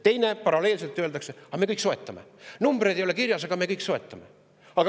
Teiseks, paralleelselt öeldakse: aga me soetame kõik, numbreid ei ole kirjas, aga me soetame kõik.